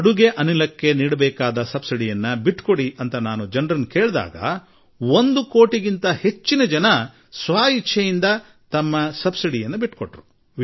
ಅಡುಗೆ ಅನಿಲದ ಸಬ್ಸಿಡಿ ಬಿಟ್ಟುಕೊಡಿ ಎಂದು ನಾನು ಜನರಲ್ಲಿ ಕೇಳಿದಾಗ ಈ ದೇಶದ ಒಂದು ಕೋಟಿಗೂ ಹೆಚ್ಚು ಕುಟುಂಬಗಳು ಸ್ವ ಇಚ್ಛೆಯಿಂದ ಬಿಟ್ಟುಕೊಟ್ಟರು